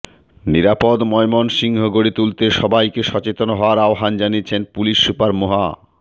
নিরাপদ ময়মনসিংহ গড়ে তুলতে সবাইকে সচেতন হওয়ার আহ্বান জানিয়েছেন পুলিশ সুপার মোহা